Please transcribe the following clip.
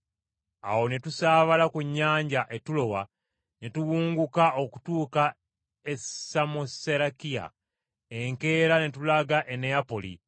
Awo ne tusaabala ku nnyanja e Tulowa, ne tuwunguka okutuuka e Samoserakiya, enkeera ne tulaga e Neyapoli,